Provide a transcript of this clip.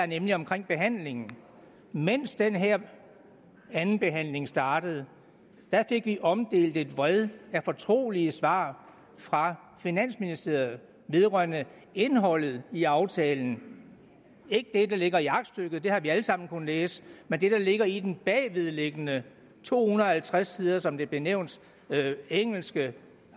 nemlig omkring behandlingen mens den her andenbehandling startede fik vi omdelt et vred af fortrolige svar fra finansministeriet vedrørende indholdet i aftalen ikke det der ligger i aktstykket det har vi alle sammen kunnet læse men det der ligger i den bagvedliggende to hundrede og halvtreds siders som det blev nævnt engelske